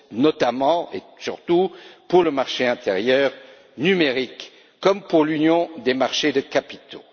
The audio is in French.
vaut notamment et surtout pour le marché intérieur numérique comme pour l'Union des marchés de capitaux.